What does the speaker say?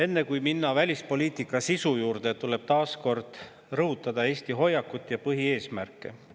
Enne kui minna välispoliitika sisu juurde, tuleb taas rõhutada Eesti hoiakut ja põhieesmärke.